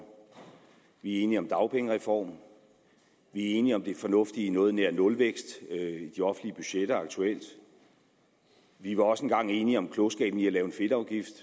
vi er enige om dagpengereformen vi er enige om det fornuftige i noget nær nulvækst i de offentlige budgetter aktuelt vi var også en gang enige om klogskaben i at lave en fedtafgift